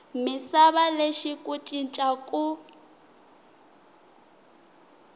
misava lexi ku cinca ku